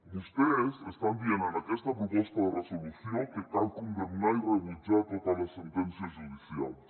vostès estan dient en aquesta proposta de resolució que cal condemnar i rebutjar totes les sentències judicials